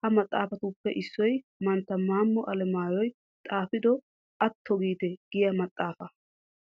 Ha maxaafatuppe issoy mantta maammo alemaayyoy xaafido atto giite giya maxaafaa.